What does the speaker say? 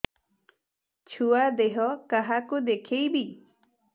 ଛୁଆ ଦେହ କାହାକୁ ଦେଖେଇବି